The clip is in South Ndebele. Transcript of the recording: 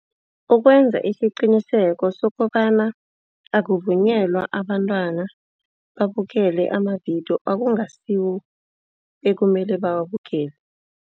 Ukwenza isiqiniseko sokobana akuvunyelwa abantwana babukele amavidiyo okungasiwo ekumele bawubukele.